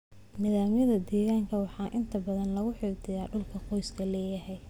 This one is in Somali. Nidaamyada deegaanka waxaa inta badan lagu xafidaa dhulka qoysku leeyahay.